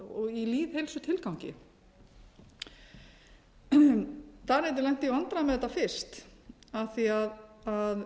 í lýðheilsutilgangi danirnir lentu í vandræðum með þetta fyrst af því að